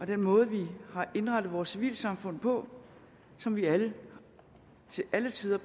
den måde vi har indrettet vores civilsamfund på som vi alle til alle tider